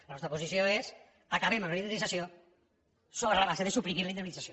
la nostra posició és acabem amb la indemnització sobre la base de suprimir la indemnització